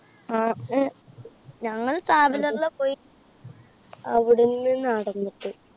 ഞങ്ങൾ traveler ലാ പോയി. അവിടെന്നു നടന്നിട്ട്.